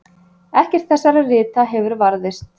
Ekkert þessara rita hefur varðveist.